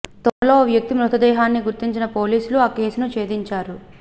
తోటలో ఓ వ్యక్తి మృతదేహాన్ని గుర్తించిన పోలీసులు ఆ కేసును ఛేదించారు